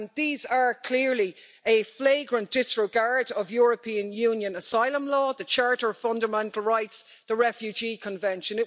These are clearly a flagrant disregard of European Union asylum law, the Charter of Fundamental Rights, the Refugee Convention.